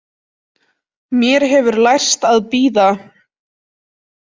Mér hefur lærst að bíða.